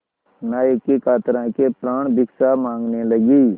नायक की कातर आँखें प्राणभिक्षा माँगने लगीं